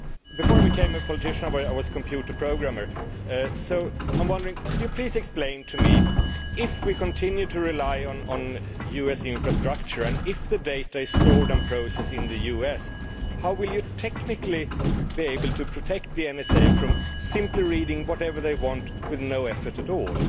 Before I became a politician I was a computer programmer, so I am wondering, could you please explain to me, if we continue to rely on US infrastructure and if the data is stored and processed in the US, how will you technically be able to prevent the NSA from simply reading whatever they want with no effort at all?